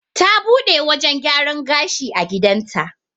Ta buɗe wajan gyaran gashi a gidan ta